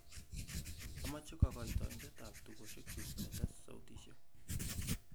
amoje kogoitoindet ak tugosiek kyuk getes sautisiek